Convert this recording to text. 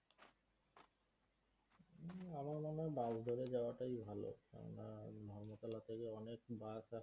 হম আমার মনে হয় bus ধরে যাওয়াটাই ভালো কেননা ধর্মতলা থেকে অনেক bus